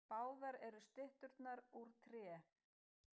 Báðar eru stytturnar úr tré